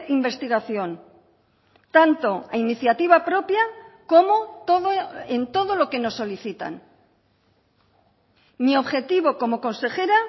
investigación tanto a iniciativa propia como todo en todo lo que nos solicitan mi objetivo como consejera